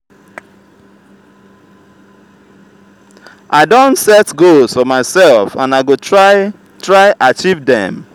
i don set goals for mysef and i go try try achieve dem.